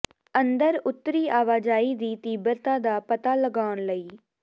ਅੰਦਰ ਉੱਤਰੀ ਆਵਾਜਾਈ ਦੀ ਤੀਬਰਤਾ ਦਾ ਪਤਾ ਲਗਾਉਣ ਲਈ